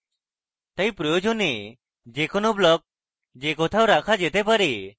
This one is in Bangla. তাই প্রয়োজনে যে কোনো block যে কোথাও রাখা যেতে পারে